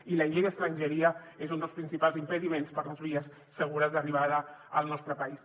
i la llei d’estrangeria és un dels principals impediments per les vies segures d’arribada al nostre país